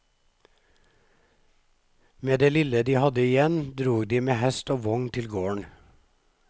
Med det lille de hadde igjen, drog de med hest og vogn til gården.